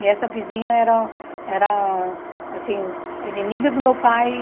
E essa vizinha era era, assim, a inimiga do meu pai.